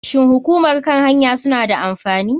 Shin hukumar kan hanya suna da amfani?